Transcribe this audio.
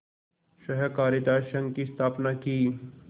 सहाकारित संघ की स्थापना की